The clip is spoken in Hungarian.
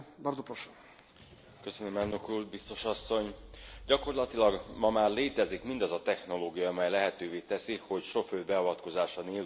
Gyakorlatilag ma már létezik mindaz a technológia, amely lehetővé teszi, hogy sofőr beavatkozása nélkül is képesek legyünk a járműveket hajtani.